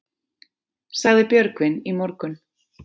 Sagði Björgvin í morgun.